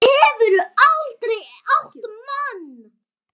Hefurðu aldrei átt mann?